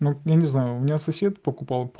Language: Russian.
я не знаю у меня сосед покупал